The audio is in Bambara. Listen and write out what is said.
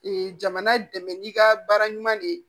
jamana dɛmɛ n'i ka baara ɲuman de